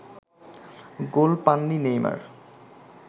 গোল পাননি নেইমার